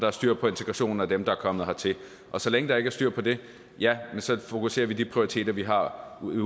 er styr på integrationen af dem der er kommet hertil og så længe der ikke styr på det ja så fokuserer vi de prioriteter vi har ude